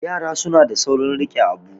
yara suna da saurin rike Abu